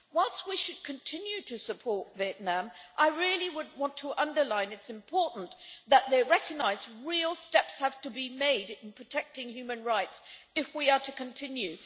Whilst we should continue to support Vietnam, I really want to underline it is important that they recognise real steps have to be made in protecting human rights if we are to continue.